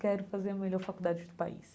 Quero fazer a melhor faculdade do país.